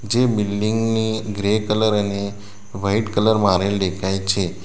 જે બિલ્ડીંગ ની grey colour અને વાઈટ કલર મારેલ દેખાય છે.